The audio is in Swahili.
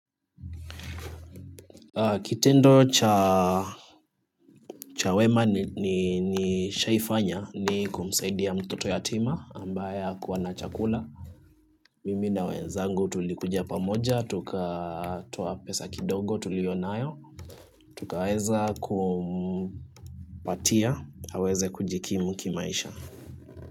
Kitendo cha wema nishaifanya ni kumsaidia mtoto yatima ambaye hakua na chakula. Mimi na wenzangu tulikujia pamoja, tukatoa pesa kidogo, tuliyonayo. Tukaweza kumpatia aweze kujikimu kimaisha.